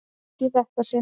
En ekki í þetta sinn.